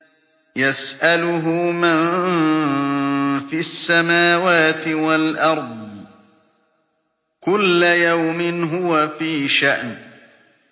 يَسْأَلُهُ مَن فِي السَّمَاوَاتِ وَالْأَرْضِ ۚ كُلَّ يَوْمٍ هُوَ فِي شَأْنٍ